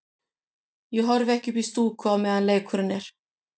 Ég horfi ekki upp í stúku á meðan leikurinn er.